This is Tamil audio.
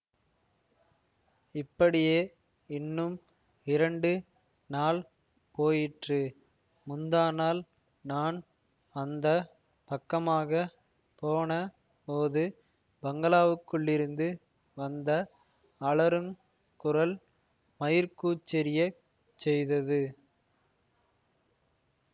இப்படியே இன்னும் இரண்டு நாள் போயிற்று முந்தாநாள் நான் அந்த பக்கமாக போன போது பங்களாவுக்குள்ளிருந்து வந்த அலறுங் குரல் மயிர்க்கூச்செறிய செய்தது